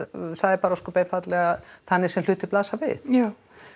það er bara ósköp einfaldlega þannig sem hlutirnir blasa við já